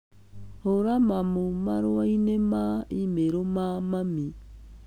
hũra mamũ marũa-inĩ ma e-mail ma mami